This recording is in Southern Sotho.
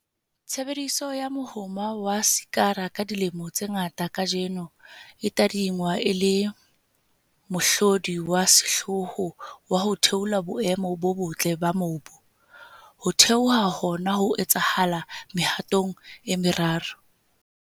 Tshebediso ya mohoma wa sekara ka dilemo tse ngata kajeno e tadingwa e le mohlodi wa sehlooho wa ho theola boemo bo botle ba mobu. Ho theoha hona ho etsahala mehatong e meraro.